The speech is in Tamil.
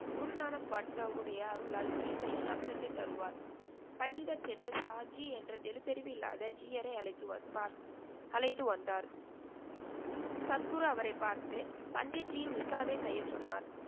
குருனாக் பாட்ஷா அவருடைய அருளால் கீதையின் அர்த்தத்தைத் தருவார். பண்டிதர் சென்று சாஷி என்ற எழுத்தறிவில்லாத ஜீயரை அழைத்து வ பார்த் அழைத்து வந்தார். சத்குரு அவரைப் பார்த்து பண்டித்ஜியின் மிஷாவைச் செய்ய சொன்னார்.